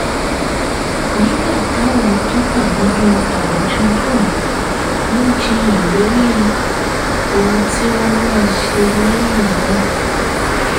nígbà táwọn tó wà nínú àwùjọ náà ń jiyàn lórí ohun tí wọ́n máa ṣe lẹ́yìn náà